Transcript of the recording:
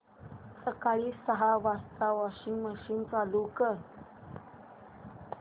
सकाळी सहा वाजता वॉशिंग मशीन चालू कर